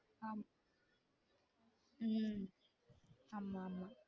ஆம் உம் ஆமா ஆமா